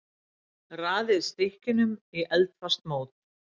Raðið stykkjunum í eldfast mót.